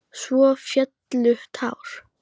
Svo féllu tár.